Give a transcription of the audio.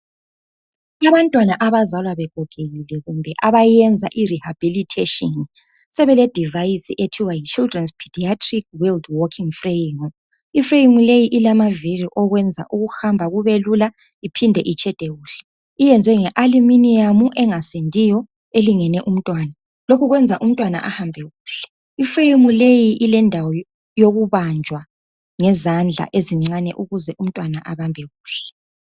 abantwana abazalwa begogekile kumbe abayenza i rehabilitation sebele device okuthiwa yi childrens pediatric world walking frame i frame le ilamavili eyenza ukuhamba kubelula ibuye itshede kuhle iyenzwe nge aluminium engasindiyo elingene umntwana lokhu kwenza umntwana ahambe kuhle i frame leyi ilendawo yokubanjwa ngezandla ezincane ukuze umntwana abanjwe kuhle